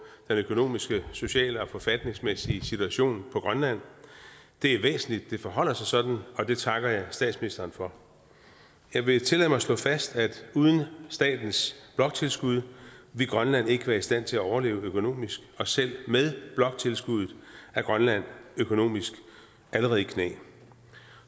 økonomiske sociale og forfatningsmæssige situation på grønland det er væsentligt at det forholder sig sådan og det takker jeg statsministeren for jeg vil tillade mig at slå fast at uden statens bloktilskud ville grønland ikke være i stand til at overleve økonomisk og selv med bloktilskuddet er grønland økonomisk allerede i knæ